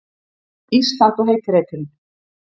Ísland og heiti reiturinn.